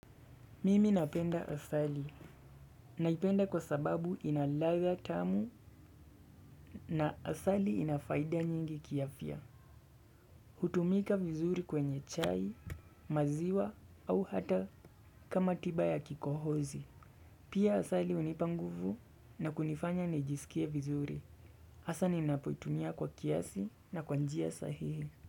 Mimi napenda asali. Naipenda kwa sababu ina ladha tamu na asali ina faida nyingi kiafya. Hutumika vizuri kwenye chai, maziwa au hata kama tiba ya kikohozi. Pia asali unipa nguvu na kunifanya nijisikie vizuri. Asa ninapotumia kwa kiasi na kwa njia sahihi.